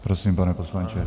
Prosím, pane poslanče.